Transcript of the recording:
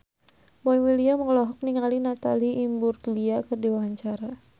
Boy William olohok ningali Natalie Imbruglia keur diwawancara